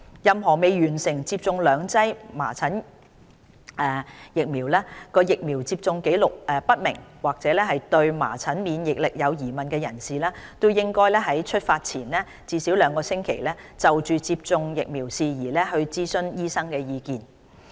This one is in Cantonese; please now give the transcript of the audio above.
任何未完成接種兩劑含麻疹的疫苗、疫苗接種紀錄不明或對麻疹免疫力有疑問的人士，應該於出發前至少兩星期，就接種疫苗事宜諮詢醫生意見。